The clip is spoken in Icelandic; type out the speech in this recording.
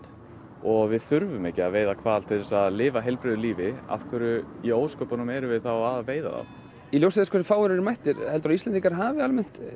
og við þurfum ekki að veiða hval til að lifa heilbrigðu lífi af hverju í ósköpunum erum við þá að veiða þá í ljósi þess hversu fáir eru mættir heldurðu að Íslendingar hafi almennt